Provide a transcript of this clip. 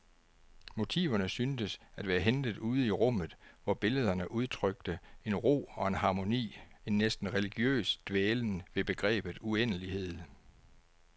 Motiverne syntes at være hentet ude i rummet, hvor billederne udtrykte en ro og en harmoni, en næsten religiøs dvælen ved begrebet uendelighed.